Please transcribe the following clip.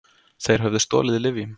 Þeir höfðu stolið lyfjum.